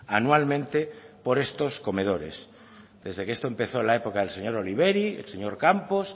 anualmente por estos comedores desde que esto empezó en la época del señor oliveri el señor campos